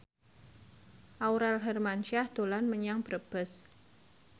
Aurel Hermansyah dolan menyang Brebes